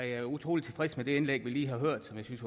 jeg er utrolig tilfreds med det indlæg vi lige har hørt jeg synes